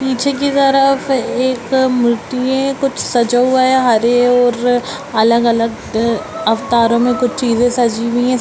पीछे की तरफ एक मूर्ति है कुछ सजा हुआ है हरे और अलग-अलग अवतारों मे कुछ चीजें सजी हुई है।